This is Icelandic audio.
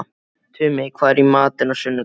Tumi, hvað er í matinn á sunnudaginn?